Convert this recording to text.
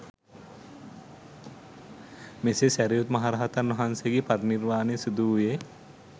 මෙසේ සැරියුත් මහ රහතන් වහන්සේගේ පරිනිර්වාණය සිදුවූයේ